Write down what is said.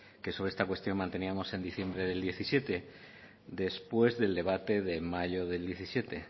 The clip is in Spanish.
que sobre esta cuestión manteníamos en diciembre de dos mil diecisiete después del debate de mayo del dos mil diecisiete